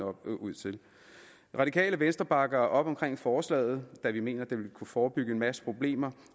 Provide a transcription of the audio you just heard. ud til det radikale venstre bakker op omkring forslaget da vi mener at det vil kunne forebygge en masse problemer